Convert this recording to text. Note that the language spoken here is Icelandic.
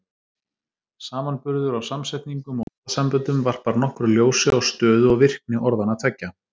Samanburður á samsetningum og orðasamböndum varpar nokkru ljósi á stöðu og virkni orðanna tveggja.